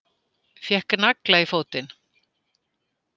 Fékk nagla í fótinn